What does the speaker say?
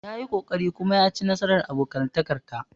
Ya yi ƙoƙari kuma ya ci nasarar abokantakar ta.